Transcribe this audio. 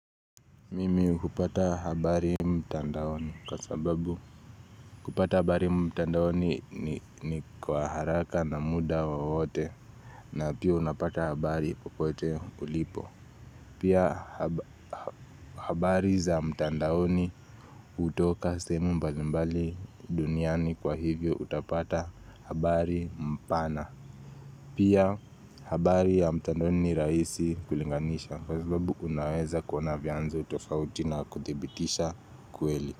Mimi hupata habari mtandaoni kwa sababu kupata habari mtandaoni ni kwa haraka na muda wowote na pia unapata habari popote ulipo Pia habari za mtandaoni hutoka sehemu mbali mbali duniani kwa hivyo utapata habari mpana Pia habari ya mtandoni ni rahisi kulinganisha Kwa sababu unaweza kuona vyanzo tofauti na kuthibitisha kweli.